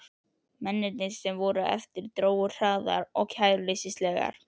Mennirnir, sem eftir voru, drógu hraðar og kæruleysislegar.